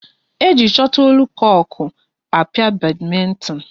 E ji chotlekoku a pịa badmintin